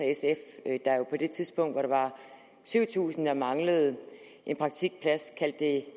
og det tidspunkt hvor der var syv tusind der manglede en praktikplads kaldte det